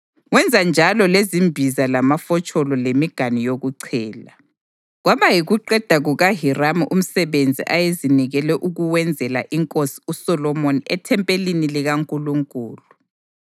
Wenza njalo lezimbiza lamafotsholo lemiganu yokuchela. Kwaba yikuqeda kukaHiramu umsebenzi ayezinikele ukuwenzela inkosi uSolomoni ethempelini likaNkulunkulu: